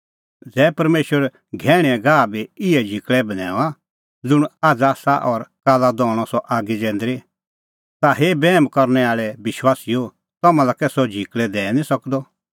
ज़ै परमेशर घैहणींए घाहा का बी इहै झिकल़ै बन्हैऊंआं ज़ुंण आझ़ आसा और काल्ला दहणअ सह आगी जैंदरी ता हे बैहम करनै आल़ै विश्वासीओ तम्हां लै कै सह झिकल़ै दैई निं सकदअ